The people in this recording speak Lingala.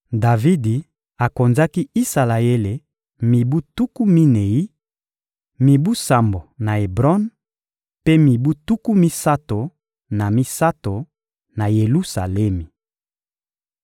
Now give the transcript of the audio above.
Davidi akonzaki Isalaele mibu tuku minei: mibu sambo na Ebron, mpe mibu tuku misato na misato na Yelusalemi.